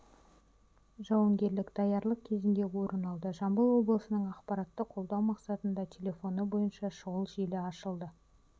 жауынгерлік даярлық кезінде орын алды жамбыл облысының ақпаратты қолдау мақсатында телефоны бойынша шұғыл желі ашылды